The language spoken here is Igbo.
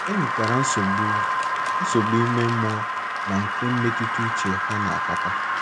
E nwekwara nsogbu nsogbu ime mmụọ na nke mmetụta uche ha na - akpata.